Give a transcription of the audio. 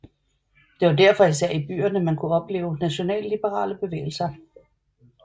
Det var derfor især i byerne man kunne opleve nationalliberale bevægelser